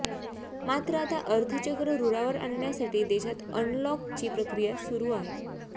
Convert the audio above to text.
मात्र आता अर्थचक्र रुळावर आणण्यासाठी देशात अनलॉकची प्रक्रिया सुरु आहे